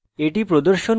এটি প্রদর্শন করে: